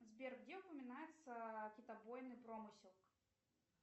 сбер где упоминается китобойный промысел